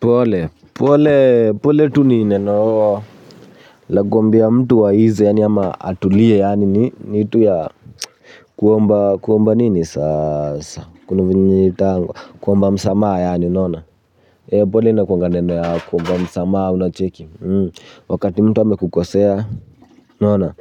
Pole, pole, pole tu ni neno la kuambia mtu aize yaani ama atulie yaani, ni tu ya kuomba, kuomba nini sasa, kuna vyenye inaitangwa, kuomba msamaha yaani unaona. Pole inakuanga neno ya kuomba msamaha unacheki. Wakati mtu amekukosea, unaona,